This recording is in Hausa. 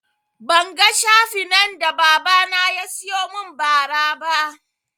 Ban ga shafinan da baba na yasiyo mun ba ra ba